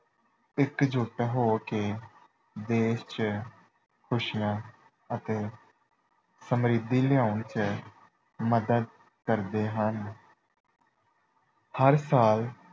ਇਕਜੁਟ ਹੋ ਕੇ ਦੇਸ਼ ਚ ਖੁਸ਼ੀਆਂ ਅਤੇ ਸਮਰਿੱਧੀ ਲਿਆਉਣ ਚ ਮਦਦ ਕਰਦੇ ਹਨ। ਹਰ ਸਾਲ